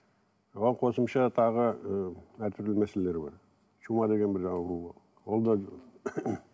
оған қосымша тағы ы әртүрлі мәселелер бар чума деген бір жаңа ауру ол да